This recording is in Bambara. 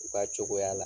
U ka cogoya la